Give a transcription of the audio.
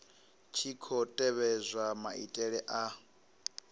tshi khou tevhedzwa maitele a